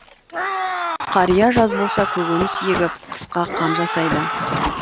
қария жаз болса көкөніс егіп қысқа қам жасайды